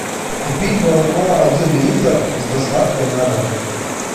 купить молоко один литр с доставкой на дом